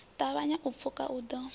ṱavhanya u pfuka u ḓo